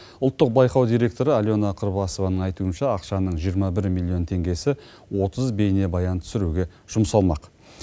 ұлттық байқау директоры алена кырбасованың айтуынша ақшаның жиырма бір миллион теңгесі отыз бейнебаян түсіруге жұмсалмақ